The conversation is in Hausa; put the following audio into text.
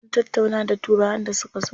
Sun tattauna da turawan da suka zo.